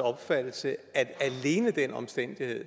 opfattelse at alene den omstændighed